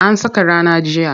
An saka rana jiya.